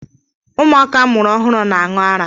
Ụmụaka amụrụ ọhụrụ na-aṅụ ara.